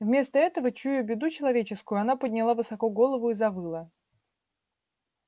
вместо этого чуя беду человеческую она подняла высоко голову и завыла